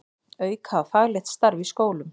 Auka á faglegt starf í skólum